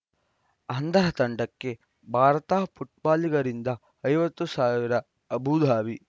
ಅಂಧರ ತಂಡಕ್ಕೆ ಭಾರತ ಫುಟ್ಬಾಲಿಗರಿಂದ ಐವತ್ತು ಸಾವಿರ ಅಬುಧಾಬಿ